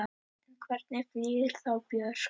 En hvernig flýgur þá Björk?